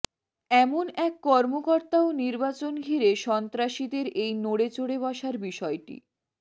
এমন এক কর্মকর্তাও নির্বাচন ঘিরে সন্ত্রাসীদের এই নড়েচড়ে বসার বিষয়টি